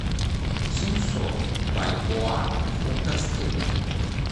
семьсот бальбоа в фунтах стерлингов